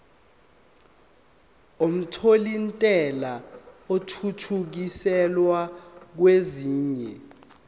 omthelintela athuthukiselwa kwesinye